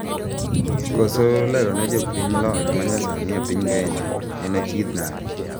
Koso lerone jopiny lony manyasani epiny Kenya en achiedh nade.